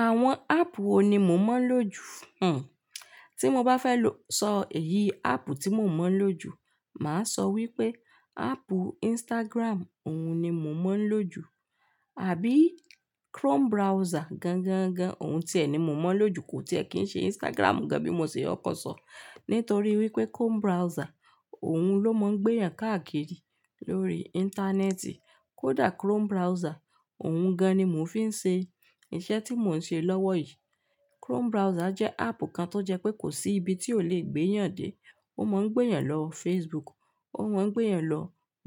Àwọn áàpù wo ni mo mọ̀ ń lò ju? Hmmm. Tí mo bá fẹ́ lọ sọ eyì áàpù tí mo mọ̀ ń lò ju, màá sọ wípé áàpù Instagram, òun ni mo mọ̀ ń lò ju, àbí Chrome browser gangan gan, òun tìẹ ni mo mọ̀ ń lò ju kò tìẹ kí ń ṣe Instagram gan bí mo ṣe kokọ̀ sọ. Nítorí wípé Chrome browser, òun ló mọ̀ ń gbéyàn káàkiri lórí Íńtánẹ́ẹ̀tì. Kódà Chrome browser, òun gan ni mò ń fi ń ṣe iṣẹ́ tí mò ń ṣe lọ́wọ́ yìí. Chrome browser jẹ́ áàpù kan tó jẹ pé kò sí ibi tí ó lè gbéyàn dé. Ó mọ̀ ń gbéyàn lọ Facebook, ó mọ̀ ń gbéyàn lọ